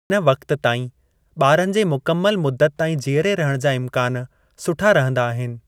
हिन वक़ति ताईं ॿारनि जे मुकमल मुदत ताईं जीयरे रहण जा इमकानु सुठा रहंदा आहिनि।